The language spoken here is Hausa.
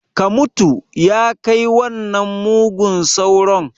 Ka mutu! ya kai wannan mugun sauron